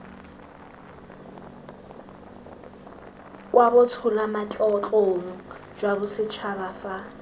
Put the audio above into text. kwa botsholamatlotlong jwa bosetšhaba fa